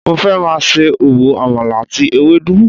Mo fẹ́ máa ṣe òwò àmàlà àti ewédú